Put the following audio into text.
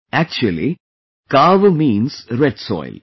Actually, 'Kaava' means red soil